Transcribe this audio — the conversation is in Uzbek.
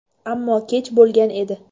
Ammo kech bo‘lgan edi.